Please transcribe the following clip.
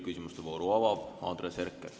Küsimuste vooru avab Andres Herkel.